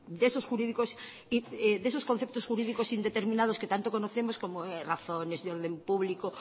de esos conceptos jurídicos indeterminados que tanto conocemos como razones de orden público